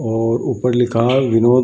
और ऊपर लिखा है विनोद।